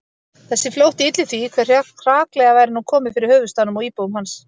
Þessi flótti ylli því, hve hraklega væri nú komið fyrir höfuðstaðnum og íbúum hans